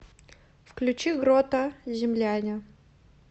включи грота земляне